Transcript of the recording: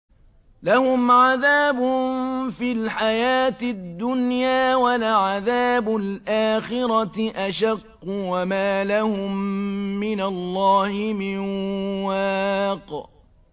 لَّهُمْ عَذَابٌ فِي الْحَيَاةِ الدُّنْيَا ۖ وَلَعَذَابُ الْآخِرَةِ أَشَقُّ ۖ وَمَا لَهُم مِّنَ اللَّهِ مِن وَاقٍ